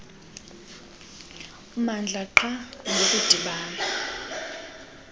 mmandla qha ngokudibana